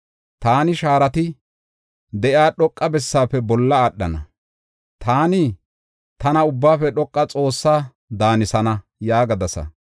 Taani shaarati de7iya dhoqa bessaafe bolla aadhana; taani, tana Ubbaafe Dhoqa Xoossaa daanisana” yaagadasa.